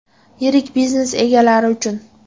Yirik biznes egalari uchun!